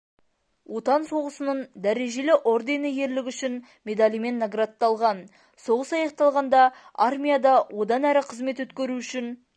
отан соғысының дәрежелі ордені ерлігі үшін медалімен наградталған соғыс аяқталғанда армияда одан әрі қызмет өткеру үшін